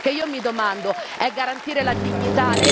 Perché io mi domando è garantire la dignità?